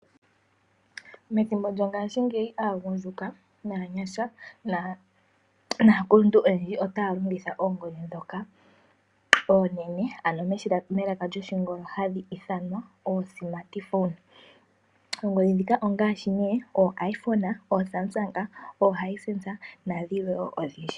Methimbo lyongashingeyi aagundjuka naanyasha naakuluntu endji otaya longitha oongodhi ndhoka oonene, ano oongodhi ndhoka hadhi vulu okuya komalungula. Oongohika ongaashi nduno ooIphone, ooSamsung, ooHisense nadhilwe odhindji.